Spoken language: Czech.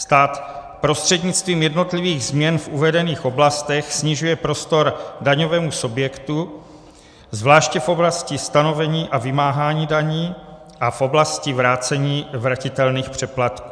Stát prostřednictvím jednotlivých změn v uvedených oblastech snižuje prostor daňovému subjektu, zvláště v oblasti stanovení a vymáhání daní a v oblasti vrácení vratitelných přeplatků.